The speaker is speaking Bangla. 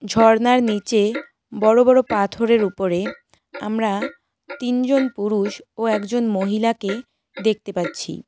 ঝর্নার নীচে বড়ো বড়ো পাথরের উপরে আমরা তিনজন পুরুষ ও একজন মহিলাকে দেখতে পাচ্ছি।